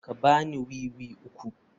Ka ba ni wiwi uku.